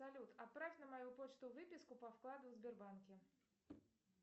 салют отправь на мою почту выписку по вкладу в сбербанке